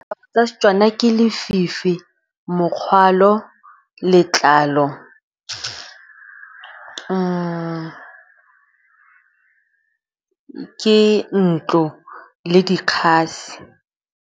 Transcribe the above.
Ka Setswana ke lefifi, mokgwalo, letlalo , ke ntlo le dikgasi.